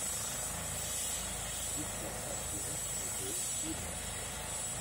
искать картина с николь кидман